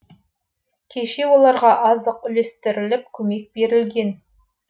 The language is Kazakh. кеше оларға азық үлестіріліп көмек берілген